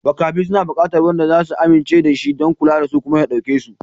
Makafi suna buƙatar wanda za su amince da shi don kula da su kuma ya ɗauke su.